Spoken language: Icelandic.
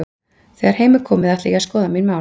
Þegar heim er komið ætla ég að skoða mín mál.